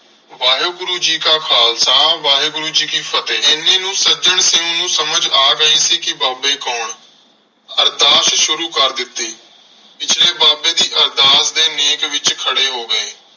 ਵਾਹਿਗੁਰੂ ਜੀ ਕਾ ਖਾਲਸਾ, ਵਾਹਿਗੁਰੂ ਜੀ ਕੀ ਫ਼ਤਿਹ। ਐਨੇ ਨੂੰ ਸੱਜਣ ਸਿੰਘ ਨੂੰ ਸਮਝ ਆ ਗਈ ਸੀ ਕਿ ਬਾਬੇ ਕੌਣ? ਅਰਦਾਸ ਸ਼ੁਰੂ ਕਰ ਦਿਤੀ ਪਿਛਲੇ ਬਾਬੇ ਦੀ ਅਰਦਾਸ ਦੇ ਨੇਕ ਵਿਚ ਖੜੇ ਹੋ ਗਏ।